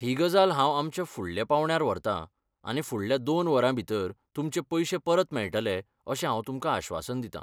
ही गजाल हांव आमच्या फुडल्या पांवड्यार व्हरतां आनी फुडल्या दोन वरां भितर तुमचे पयशे परत मेळटले अशें हांव तुमकां आश्वासन दितां.